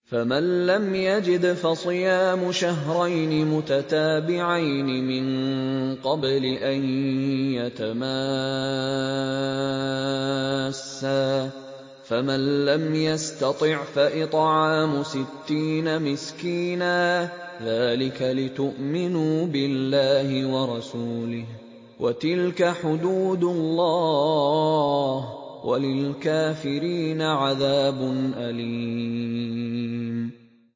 فَمَن لَّمْ يَجِدْ فَصِيَامُ شَهْرَيْنِ مُتَتَابِعَيْنِ مِن قَبْلِ أَن يَتَمَاسَّا ۖ فَمَن لَّمْ يَسْتَطِعْ فَإِطْعَامُ سِتِّينَ مِسْكِينًا ۚ ذَٰلِكَ لِتُؤْمِنُوا بِاللَّهِ وَرَسُولِهِ ۚ وَتِلْكَ حُدُودُ اللَّهِ ۗ وَلِلْكَافِرِينَ عَذَابٌ أَلِيمٌ